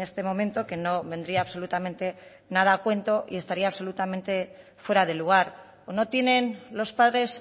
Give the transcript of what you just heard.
este momento que no vendría absolutamente nada a cuento y estaría absolutamente fuera de lugar o no tienen los padres